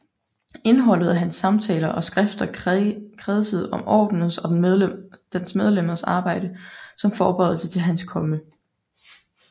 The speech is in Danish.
Indholdet af hans samtaler og skrifter kredsede om Ordenens og dens medlemmers arbejde som forberedelse til Hans Komme